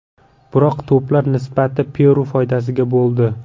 Biroq to‘plar nisbati Peru foydasiga bo‘ldi.